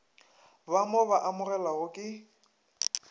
ba mo ba amogelwago ke